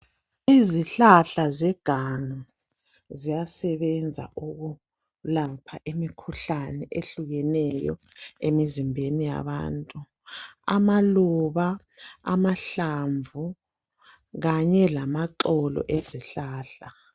Izihlahla zeganga ziyasebenza ukulapha imkhuhlane ehlukeneyo emizimbeni yabantu. Amaluba, amahlamvu kanye lamaxolo ezihlahla.